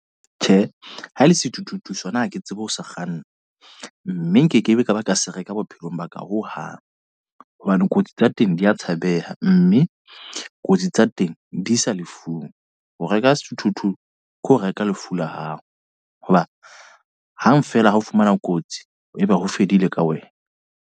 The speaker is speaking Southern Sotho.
Tjhe, ha le sethuthuthu sona ha ke tsebe ho sa kganna. Mme nkekebe ka ba ka se reka bophelong ba ka hohang. Hobane kotsi tsa teng di a tshabeha. Mme kotsi tsa teng di isa lefung. Ho reka sethuthuthu ke ho reka lefu la hao. Hoba hang feela ha o fumana kotsi e be ho fedile ka wena.